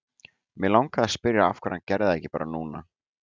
Mig langaði að spyrja af hverju hann gerði það ekki bara núna.